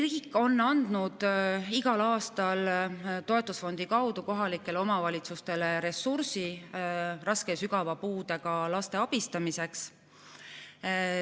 Riik on andnud igal aastal toetusfondi kaudu kohalikele omavalitsustele ressursi raske ja sügava puudega laste abistamiseks.